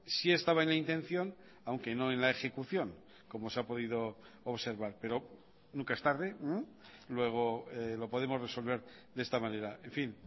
sí estaba en la intención aunque no en la ejecución como se ha podido observar pero nunca es tarde luego lo podemos resolver de esta manera en fin